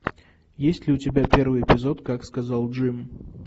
есть ли у тебя первый эпизод как сказал джим